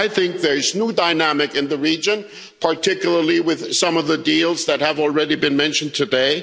I think there is a new dynamic in the region, particularly with some of the deals that have already been mentioned today.